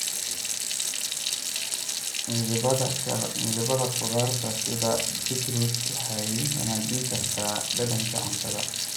Midabada khudradda sida beetroot waxay wanaajin kartaa dhadhanka cuntada.